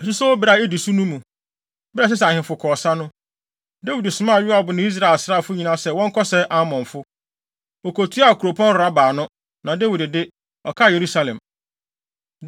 Asusowbere a edi so no mu, bere a ɛsɛ sɛ ahemfo kɔ ɔsa no, Dawid somaa Yoab ne Israel asraafo nyinaa sɛ wɔnkɔsɛe Amonfo. Wokotuaa kuropɔn Raba ano, na Dawid de, ɔkaa Yerusalem.